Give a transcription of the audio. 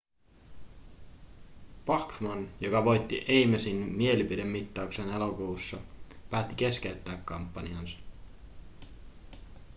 bachmann joka voitti amesin mielipidemittauksen elokuussa päätti keskeyttää kampanjansa